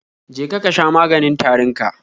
Je ka sha maganin tarin ka